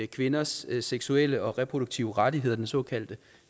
kvinders seksuelle og reproduktive rettigheder den såkaldte